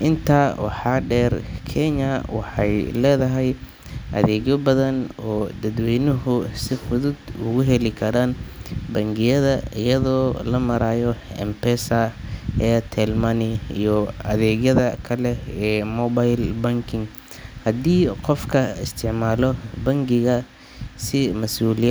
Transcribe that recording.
Intaa waxaa dheer, Kenya waxay leedahay adeegyo badan oo dadweynuhu si fudud ugu heli karaan bangiyada iyada oo loo marayo M-Pesa, Airtel Money iyo adeegyada kale ee mobile banking. Haddii qofka isticmaalo bangiga si masuuliya.